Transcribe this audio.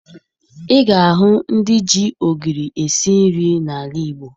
Ị ga-ahụ ndị ji ogiri esi nri n'ala Igbo